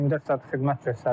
24 saat xidmət göstəririk.